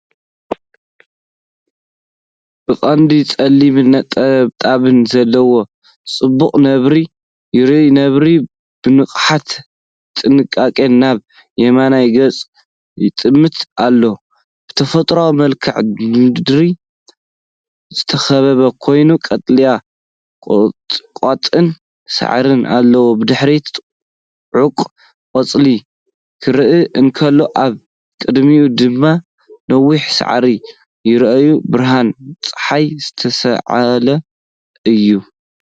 ብቐንዱ ጸሊም ነጠብጣብ ዘለዎ ጽቡቕ ነብሪ ይርአ። ነብሪ ብንቕሓትን ጥንቃቐን ናብ የማን ገጹ ይጥምት ኣሎ። ብተፈጥሮኣዊ መልክዓ ምድሪ ዝተኸበበ ኮይኑ ቀጠልያ ቁጥቋጥን ሳዕርን ኣለዎ። ብድሕሪት ጽዑቕ ቆጽሊ ክረአ እንከሎ፡ኣብ ቅድሚት ድማ ነዋሕቲ ሳዕሪ ይረኣዩ። ብርሃን ጸሓይ ዝተሳእለ እዩ።